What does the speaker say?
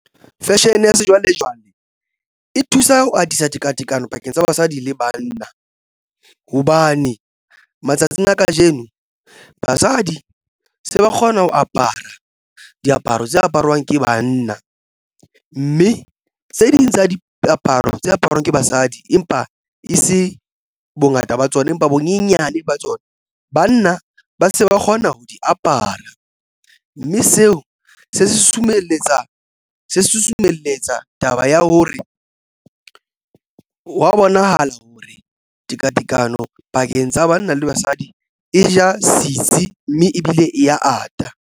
Fashion ya sejwalejwale e thusa ho atisa tekatekano pakeng tsa basadi le banna hobane matsatsing a kajeno basadi se ba kgona ho apara diaparo tse aparwang ke banna mme tse ding tsa diaparo tse aparwang ke basadi. Empa e se bongata ba tsona empa bonyenyane ba tsona banna ba se ba kgona ho di apara. Mme seo se susumelletsa se susumelletsa taba ya hore wa bonahala hore tekatekano pakeng tsa banna le basadi e ja sitsi, mme ebile e ya ata.